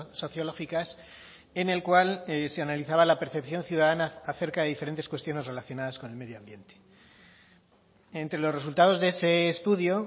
sociológicas en el cual se analizaba la percepción ciudadana acerca de diferentes cuestiones relacionadas con el medio ambiente entre los resultados de ese estudio